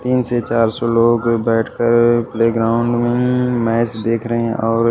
तीन से चार सौ लोग बैठकर प्ले ग्राउंड में मैच देख रहे हैं और--